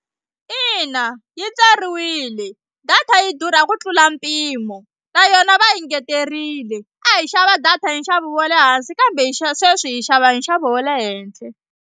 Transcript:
Ina yi tsariwile data yi durha ku tlula mpimo na yona va engeteriwile a hi xava data hi nxavo wa le hansi kambe hi sweswi hi xava hi nxavo wa le henhla.